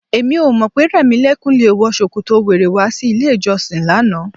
Èmi ò mọ̀ pé Rẹ̀mílẹ́kún le wọ ṣòkòtò wèrè wá sí ilé-ìjọsìn lánàá.